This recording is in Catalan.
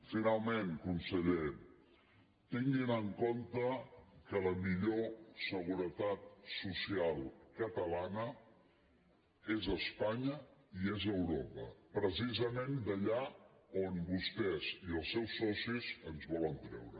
finalment conseller tinguin en compte que la millor seguretat social catalana és espanya i és europa pre·cisament d’allà on vostès i els seus socis ens volen treure